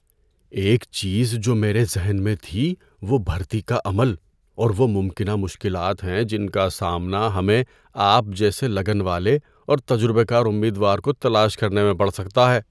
‏ایک چیز جو میرے ذہن میں تھی وہ بھرتی کا عمل اور وہ ممکنہ مشکلات ہیں جن کا سامنا ہمیں آپ جیسے لگن والے اور تجربہ کار امیدوار کو تلاش کرنے میں کرنا پڑ سکتا ہے۔